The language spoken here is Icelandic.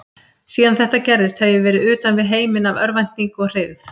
Síðan þetta gerðist hef ég verið utan við heiminn af örvæntingu og hryggð.